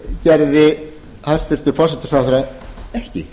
gerði hæstvirtur forsætisráðherra ekki